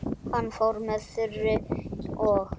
Hann fór með Þuru og